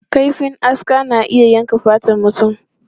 Kaifin aska na iya yankan fatar mutum.